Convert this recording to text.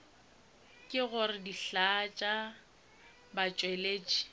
ke gore dihlaa tša batšweletši